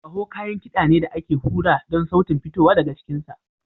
Kaho kayan kiɗa ne da ake hura don sautin fitowa daga cikinsa.